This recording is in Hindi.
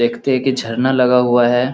देखते हैं की झरना लगा हुआ है।